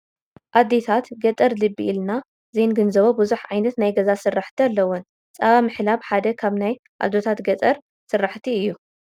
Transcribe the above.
ኣዴታት ገጠር ልቢ ኢልና ዘይንግንዘቦ ብዙሕ ዓይነት ናይ ገዛ ስራሕቲ ኣለወን፡፡ ፃባ ምሕላብ ሓደ ካብ ናይ ኣዶታት ገጠር ስራሕቲ እዩ፡፡